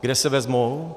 Kde se vezmou?